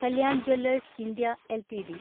Kalyan jewellers India LTD